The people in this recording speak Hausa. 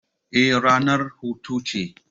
Eh, ranar hutu ce.